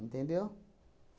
Entendeu?